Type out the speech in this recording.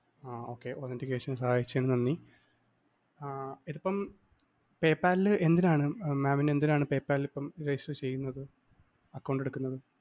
ആഹ് Okay, authentication ന് സഹായിച്ചതിന് നന്ദി. ആഹ് ഇപ്പം PayPal ൽ എന്തിനാണ് mam ന് എന്തിനാണ് PayPal ല്‍ ഇപ്പം register ചെയ്യുന്നത് account എടുക്കുന്നത്?